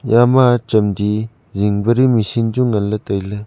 eya ma chamdi jing pedi machine chu ngan le taile.